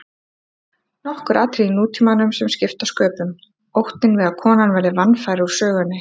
Nokkur atriði í nútímanum sem skipta sköpum: Óttinn við að konan verði vanfær úr sögunni.